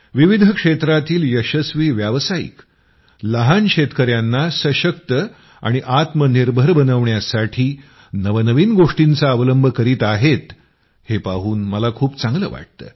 विविध क्षेत्रातील यशस्वी व्यावसायिक लहान शेतकयांना सशक्त आणि आत्मनिर्भर बनविण्यासाठी नवनवीन गोष्टींचा अवलंब करीत आहेत हे पाहून मला खूप चांगलं वाटतं